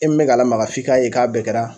E min bɛ k'a lamaga f'i k'a ye k'a bɛɛ kɛra